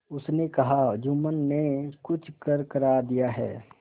उसने कहाजुम्मन ने कुछ करकरा दिया है